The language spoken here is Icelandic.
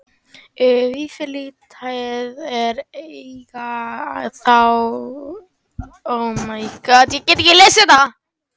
Vafalítið eiga þó önnur fjarlægari fyrirbæri eftir að uppgötvast.